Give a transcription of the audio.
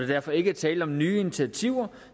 derfor ikke tale om nye initiativer